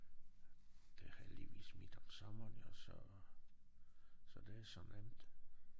Det heldigvis midt om sommeren jo så så det så nemt